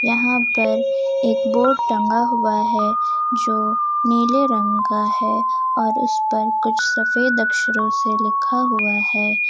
यहां पर एक बोर्ड टंगा हुआ है जो नीले रंग का है और उस पर कुछ सफेद अक्षरों से लिखा हुआ है।